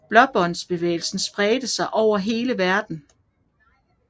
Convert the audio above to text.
Blåbåndbevægelsen spredte sig over hele verden